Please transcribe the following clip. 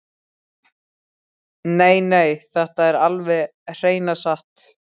Nei, nei, þetta er alveg hreina satt!